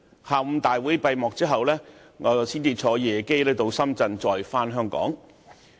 大會在下午閉幕之後，我才乘搭夜機前往深圳再返港。